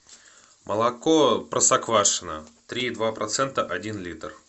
молоко простоквашино три и два процента один литр